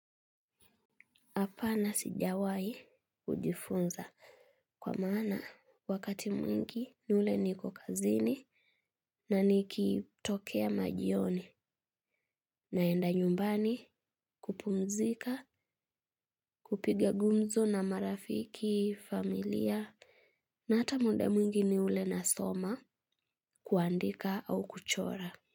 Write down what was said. Hapana sijawaai kujifunza kwa maana wakati mwingi ni ule niko kazini na nikitokea majioni naenda nyumbani kupumzika kupiga gumzo na marafiki, familia na hata muda mwingi ni ule nasoma kuandika au kuchora.